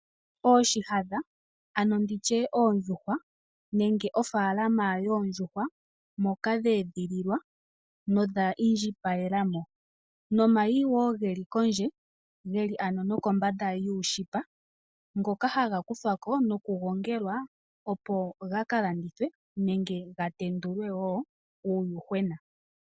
Ooshihadha, ano nditye oondhuhwa, nenge ofaalama yoondjuhwa, moka dheedhililwa, nodha indjipalela mo. Nomayi wo geli kondje, yeli ano nokombanda yuushipa, ngoka haga kuthwa ko nokugongelwa opo ga kalandithwe nenge ga tendulwe wo uuyuhwena.